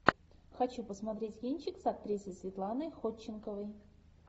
хочу посмотреть кинчик с актрисой светланой ходченковой